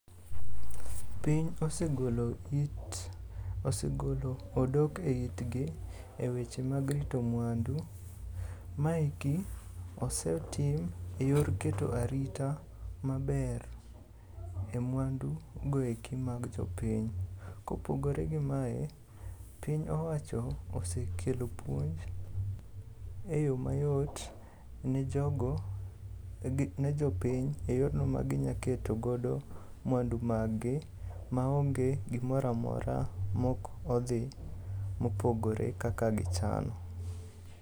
Piny osegolo odok e it gi e weche mag rito mwandu. Maeki osetim e yor keto arita maber e mwandu go eki mag jopiny. Kopogore gi mae, piny owacho osekelo puonj e yo mayot ne jopiny e yorno maginya keto godo mwandu maggi maonge gimoro amora mok odhi mopogore kaka gichano.